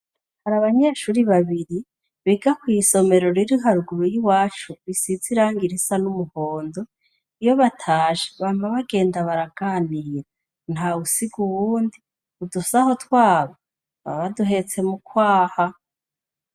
Hari abanyeshuri babiri biga kw'isomero riri haruguru y'iwacu risize irangi risa n'umuhondo, iyo batashe bama bagenda baraganira ntawusiga uwundi, udusaho twabo baba baduhetse mu kwaha.